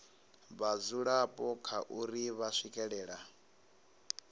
vhadzulapo kha uri vha swikelela